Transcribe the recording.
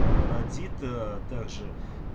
родит также